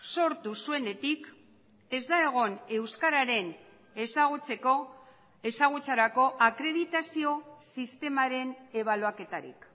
sortu zuenetik ez da egon euskararen ezagutzeko ezagutzarako akreditazio sistemaren ebaluaketarik